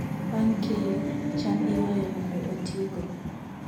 Bang' keyo, cham iywayo mondo otigo.